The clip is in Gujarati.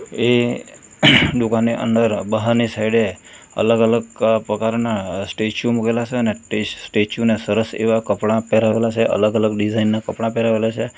એ દુકાને અંદર બહારની સાઈડે અલગ અલગ પ્રકારના સ્ટેચ્યુ મુકેલા છે અને તે સ્ટેચ્યુ ને સરસ એવા કપડાં પહેરાવેલા છે અલગ અલગ ડિઝાઇન ના કપડા પહેરાવેલા છે.